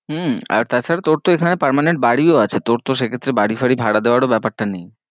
হম আর তা ছারা তোর তো এখানে permanent বাড়ি ও আছে, তোর তো সে ক্ষেত্রে বাড়ি ফারী ভাড়া দেবারো ব্যাপার টা নেই।